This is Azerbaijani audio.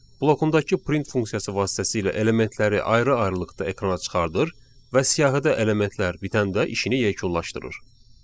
Blokundakı print funksiyası vasitəsilə elementləri ayrı-ayrılıqda ekrana çıxarır və siyahıda elementlər bitəndə işini yekunlaşdırır.